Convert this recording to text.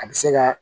A bɛ se ka